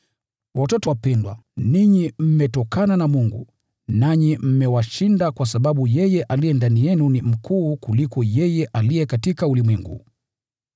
Watoto wapendwa, ninyi mmetokana na Mungu, nanyi mmewashinda kwa sababu yeye aliye ndani yenu ni mkuu kuliko yeye aliye katika ulimwengu.